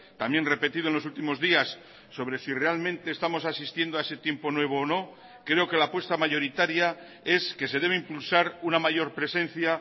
también repetido en los últimos días sobre si realmente estamos asistiendo a ese tiempo nuevo o no creo que la apuesta mayoritaria es que se debe impulsar una mayor presencia